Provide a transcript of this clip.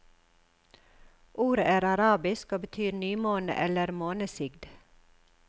Ordet er arabisk og betyr nymåne eller månesigd.